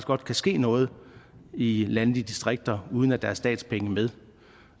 godt kan ske noget i landdistrikterne uden at der er statspenge med